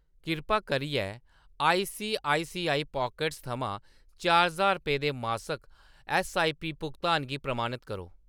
कृपा करियै ICICI pockets थमां चार ज्हार ₹ दे मासक ऐस्सआईपी भुगतान गी प्रमाणत करो।